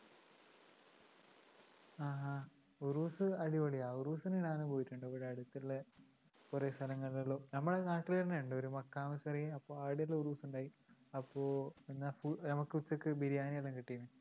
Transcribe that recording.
ആ ആ ഉറൂസ്‌ അടിപൊളിയാ ഉറൂസിന് ഞാനും പോയിട്ടുണ്ട് ഇവിടെ അടുത്തുള്ളകൊറേ സ്ഥലങ്ങളില് നമ്മടെ നാട്ടില്ന്നെയുണ്ട് ഒരു മക്കാ മസറി അവിടെയെല്ലാം ഉറൂസിണ്ടായി അപ്പൊ നമക്ക് ഉച്ചക്ക് ബിരിയാണിയെല്ലാം കിട്ടീനി